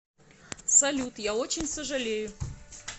салют я очень сожалею